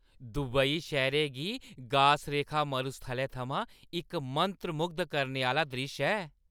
Dubai शैह्‌रै दी गास-रेखा मरुस्थलै थमां इक मंत्रमुग्ध करने आह्‌ला द्रिश्श ऐ।